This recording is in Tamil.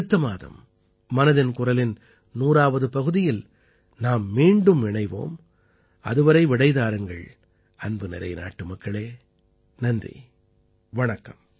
அடுத்த மாதம் மனதின் குரலின் 100ஆவது பகுதியில் நாம் மீண்டும் இணைவோம் அதுவரை விடை தாருங்கள் அன்புநிறை நாட்டுமக்களே நன்றி வணக்கம்